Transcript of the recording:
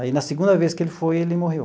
Aí, na segunda vez que ele foi, ele morreu.